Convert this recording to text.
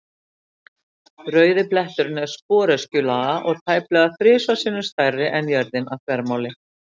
Rauði bletturinn er sporöskjulaga og tæplega þrisvar sinnum stærri en jörðin að þvermáli.